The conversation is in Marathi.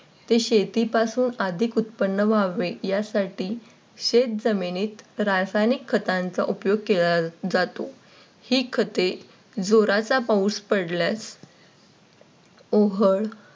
ते शेतीपासून अधिक उत्पन्न व्हावे यासाठी शेतजमिनीत रासायनिक खतांचा उपयोग केला जातो. हे खते जोराचा पाऊस पडल्यास उघड